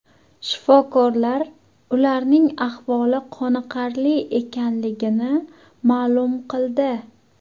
Shifokorlar ularning ahvoli qoniqarli ekanligini ma’lum qildi.